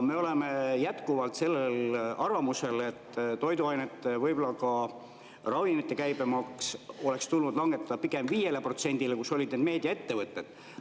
Me oleme jätkuvalt sellel arvamusel, et toiduainete, võib‑olla ka ravimite käibemaks oleks tulnud langetada pigem 5%‑le, mis oli meediaettevõtetele.